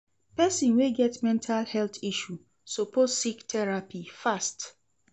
Pesin wey get mental health issue suppose seek therapy fast.